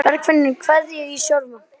Bergfinnur, kveiktu á sjónvarpinu.